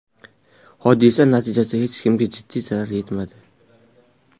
Hodisa natijasida hech kimga jiddiy zarar yetmadi.